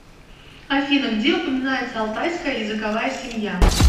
афина где упоминается алтайская языковая семья